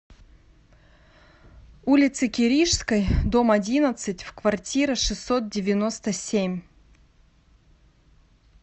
улице киришской дом одиннадцать в квартира шестьсот девяносто семь